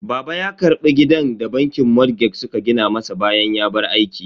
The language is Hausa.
Baba ya karbi gidan da bankin motgeg suka gina masa bayan ya bar aiki.